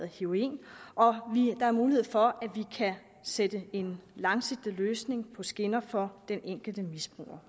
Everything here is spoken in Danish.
heroin og der er mulighed for at vi kan sætte en langsigtet løsning på skinner for den enkelte misbruger